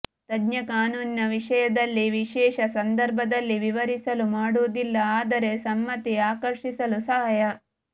ತಜ್ಞ ಕಾನೂನಿನ ವಿಷಯದಲ್ಲಿ ವಿಶೇಷ ಸಂದರ್ಭದಲ್ಲಿ ವಿವರಿಸಲು ಮಾಡುವುದಿಲ್ಲ ಆದರೆ ಸಮ್ಮತಿ ಆಕರ್ಷಿಸಲು ಸಹಾಯ